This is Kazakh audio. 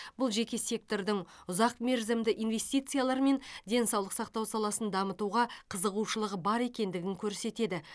бұл жеке сектордың ұзақ мерзімді инвестициялар мен денсаулық сақтау саласын дамытуға қызығушылығы бар екендігін көрсетеді